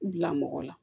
Bila mɔgɔ la